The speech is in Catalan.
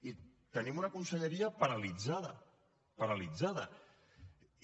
i tenim una conselleria paralitzada paralitzada i